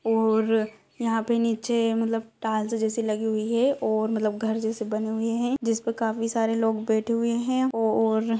और यहाँं पर नीचे मतलब टाल्स जैसे लगी हुई है और मतलब घर जैसे बने हुए हैं जिसमें काफी सारे लोग बैठे हुए हैं। ओ और --